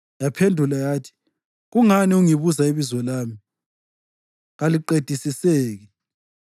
Yaphendula yathi, “Kungani ungibuza ibizo lami? Kaliqedisiseki.”